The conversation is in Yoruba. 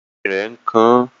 Eyín rẹ̀ ń kan àn